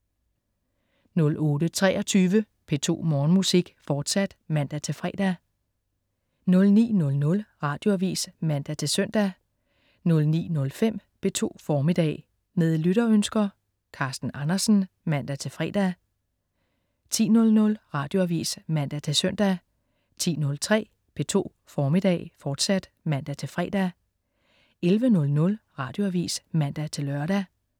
08.23 P2 Morgenmusik, fortsat (man-fre) 09.00 Radioavis (man-søn) 09.05 P2 Formiddag. Med lytterønsker. Carsten Andersen (man-fre) 10.00 Radioavis (man-søn) 10.03 P2 Formiddag, fortsat (man-fre) 11.00 Radioavis (man-lør)